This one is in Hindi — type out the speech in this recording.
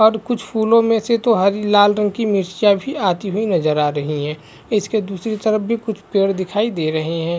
पर कुछ फूलों में से तो हरी लाल रंग की मिर्चियाँ भी आती हुई नजर आ रही है इसके दूसरी तरफ भी कुछ पेड़ दिखाई दे रहे हैं।